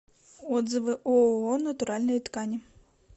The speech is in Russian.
отзывы ооо натуральные ткани